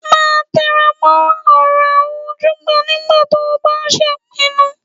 Máa tẹra mọ́ ọ̀rọ̀ àwọn ojúgbà nígbà tó o bá ń ṣèpinnu